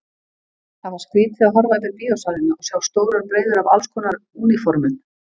Það var skrýtið að horfa yfir bíósalina og sjá stórar breiður af allskonar úniformum.